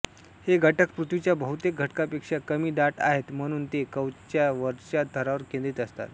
हे घटक पृथ्वीच्या बहुतेक घटकांपेक्षा कमी दाट आहेत म्हणून ते कवचच्या वरच्या थरावर केंद्रित असतात